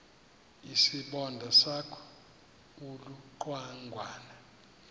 isibonda sakho ulucangwana